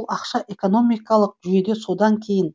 ол ақша экономикалық жүйеде содан кейін